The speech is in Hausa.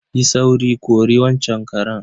Yi sauri, kori waccan karen.